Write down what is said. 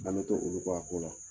olu kɔ a ko la.